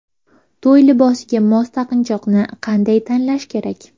To‘y libosiga mos taqinchoqni qanday tanlash kerak?.